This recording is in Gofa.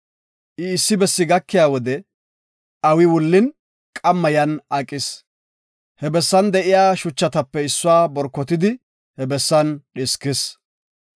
I, issi bessi gakiya wode awi wullin, qamma yan aqis. He bessan de7iya shuchatape issuwa borkotidi he bessan dhiskis.